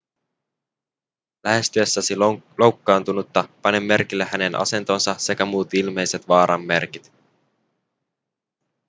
lähestyessäsi loukkaantunutta pane merkille hänen asentonsa sekä muut ilmeiset vaaran merkit